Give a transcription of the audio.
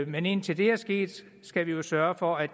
men indtil det er sket skal vi jo sørge for at